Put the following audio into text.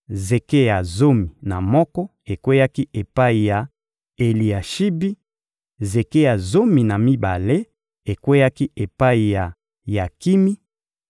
zeke ya zomi na moko ekweyaki epai ya Eliashibi; zeke ya zomi na mibale ekweyaki epai ya Yakimi;